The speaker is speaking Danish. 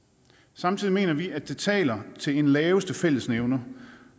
samtidig mener vi at det taler til laveste fællesnævner